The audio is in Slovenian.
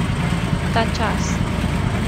Ta čas!